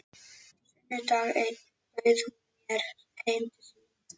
Sunnudag einn bauð hún mér heim til sín.